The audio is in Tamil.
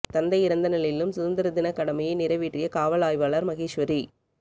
தந்தை இறந்த நிலையிலும் சுதந்திர தினக் கடமையை நிறைவேற்றிய காவல் ஆய்வாளர் மகேஸ்வரி